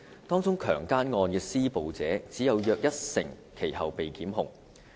當中強姦案的施暴者只有約一成其後被檢控。